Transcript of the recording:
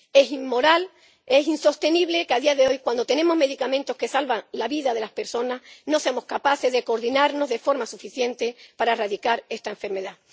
Es inmoral, es insostenible que, a día de hoy, cuando tenemos medicamentos que salvan la vida de las personas, no seamos capaces de coordinarnos de forma suficiente para erradicar esta enfermedad.